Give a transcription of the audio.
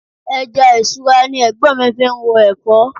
Ẹja isura ni Ẹ̀gbọ́n mi fi ń ro Ẹ̀fọ́.